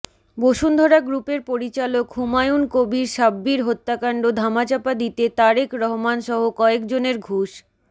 বসুন্ধরা গ্রুপের পরিচালক হুমায়ুন কবির সাব্বির হত্যাকাণ্ড ধামাচাপা দিতে তারেক রহমানসহ কয়েকজনের ঘুষ